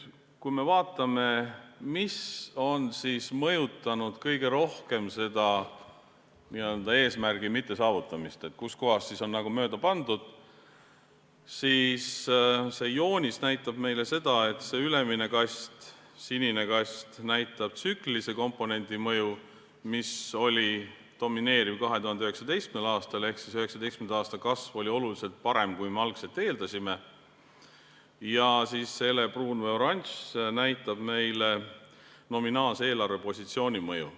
Kui me vaatame, mis on kõige rohkem mõjutanud eesmärgi mittesaavutamist, kus kohas on nagu mööda pandud, siis see ülemine sinine kast näitab tsüklilise komponendi mõju, mis oli domineeriv 2019. aastal ehk 2019. aasta kasv oli oluliselt parem, kui me algul eeldasime, ja see helepruun või oranž kast näitab nominaalse eelarvepositsiooni mõju.